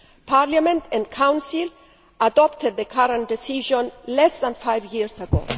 Parliament and the Council adopted the current decision less than five years